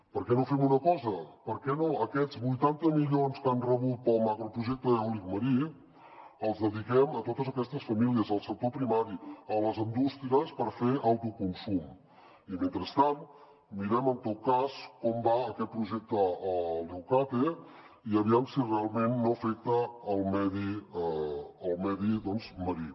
per què no fem una cosa per què no aquests vuitanta milions que han rebut per al macroprojecte eòlic marí els dediquem a totes aquestes famílies al sector primari a les indústries per fer autoconsum i mentrestant mirem en tot cas com va aquest projecte a leucate i aviam si realment no afecta el medi marí